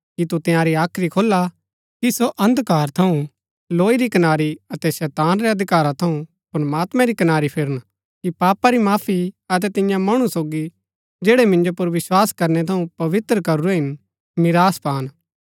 कि तु तंयारी हाख्री खोला कि सो अंधकार थऊँ लौई री कनारी अतै शैताना रै अधिकारा थऊँ प्रमात्मैं री कनारी फिरन कि पापा री माफी अतै तियां मणु सोगी जैड़ै मिन्जो पुर विस्वास करणै थऊँ पवित्र करूरै हिन मीरास पान